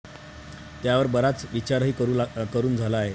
त्यांवर बराच विचारही करून झाला आहे.